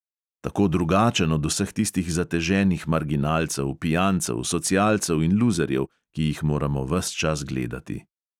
Tako drugačen od vseh tistih zateženih marginalcev, pijancev, socialcev in luzerjev, ki jih moramo ves čas gledati!